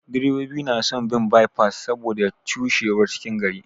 Direbobi na son bin bye pass saboda cushewar cikin gari.